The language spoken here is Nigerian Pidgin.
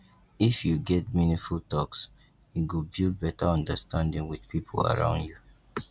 if you get meaningful talks e go build better understanding with people around you